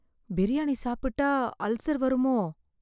பிரியாணி சாப்பிட்டா அல்சர் வருமோ?